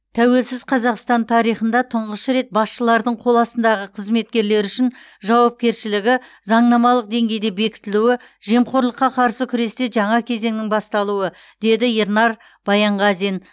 тәуелсіз қазақстан тарихында тұңғыш рет басшылардың қол астындағы қызметкерлері үшін жауапкершілігі заңнамалық деңгейде бекітілуі жемқорлыққа қарсы күресте жаңа кезеңнің басталуы деді ернар баянғазин